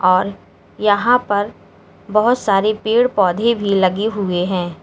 और यहां पर बहोत सारे पेड़ पौधे भी लगे हुए हैं।